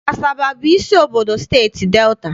Asaba bụ isi obodo Steeti Delta.